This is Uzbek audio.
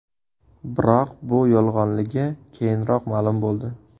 Biroq bu yolg‘onligi keyinroq ma’lum bo‘ldi .